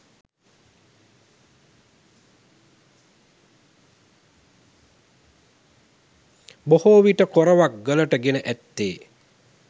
බොහෝ විට කොරවක් ගලට ගෙන ඇත්තේ